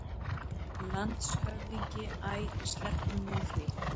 LANDSHÖFÐINGI: Æ, sleppum nú því!